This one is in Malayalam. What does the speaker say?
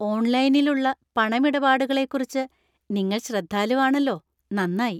ഓൺലൈനിൽ ഉള്ള പണമിടപാടുകളേക്കുറിച്ച് നിങ്ങൾ ശ്രദ്ധാലുവാണല്ലോ, നന്നായി.